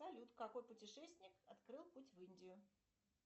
салют какой путешественник открыл путь в индию